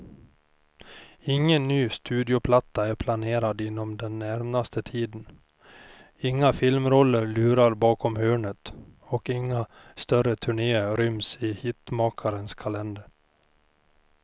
Ingen ny studioplatta är planerad inom den närmaste tiden, inga filmroller lurar bakom hörnet och inga större turnéer ryms i hitmakarens kalender.